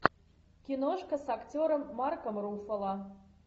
киношка с актером марком руффало